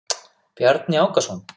Bjarni Ákason.